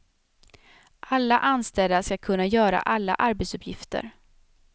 Alla anställda ska kunna göra alla arbetsuppgifter.